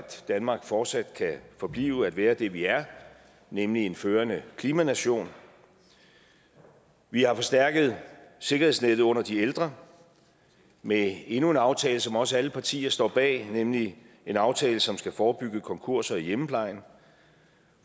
danmark fortsat kan forblive at være det vi er nemlig en førende klimanation vi har forstærket sikkerhedsnettet under de ældre med endnu en aftale som også alle partier står bag nemlig en aftale som skal forebygge konkurser i hjemmeplejen